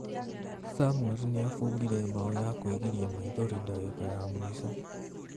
Samuel nĩabungire mbaũ ya kwĩgiria maithori dagĩka ya mũico.